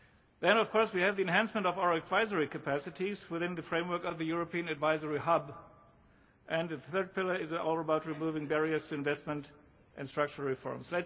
Then of course we have the enhancement of our advisory capacities within the framework of the European Advisory Hub, and the third pillar is all about removing barriers to investment and structural reforms.